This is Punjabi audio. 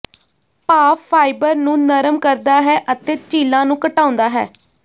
ਭਾਫ਼ ਫ਼ਾਈਬਰ ਨੂੰ ਨਰਮ ਕਰਦਾ ਹੈ ਅਤੇ ਝੀਲਾਂ ਨੂੰ ਘਟਾਉਂਦਾ ਹੈ